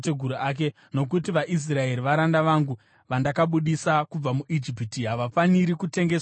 Nokuti vaIsraeri varanda vangu vandakabudisa kubva muIjipiti, havafaniri kutengeswa senhapwa.